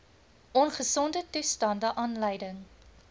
ongesonde toestande aanleiding